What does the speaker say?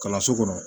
Kalanso kɔnɔ